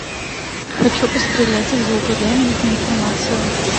хочу пострелять из лука дай нужную информацию